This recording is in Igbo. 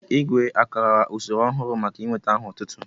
Igwé àkara usoro ọhụrụ maka inwéta aha otútú?